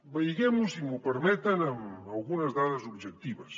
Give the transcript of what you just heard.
vegem ho si m’ho permeten amb algunes dades objectives